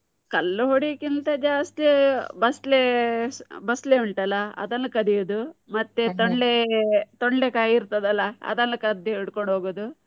ಕಲ್ಲು ಹೊಡಿಯುಕಿಂತ ಜಾಸ್ತಿ ಬಸ್ಳೆ, ಬಸ್ಳೆ ಉಂಟಲ್ಲ ಅದನ್ನು ಕದಿಯುದು. ಮತ್ತೆ ತೊಂಡೆ, ತೊಂಡೆಕಾಯಿ ಇರ್ತದಲ್ಲ ಅದನ್ನು ಕದ್ದು ಹಿಡ್ಕೊಂಡ್ ಹೋಗುದು.